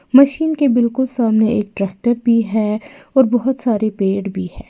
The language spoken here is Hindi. मशीन के बिल्कुल सामने एक ट्रैक्टर भी है और बहुत सारे पेड़ भी है।